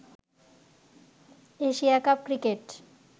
Asia cup cricket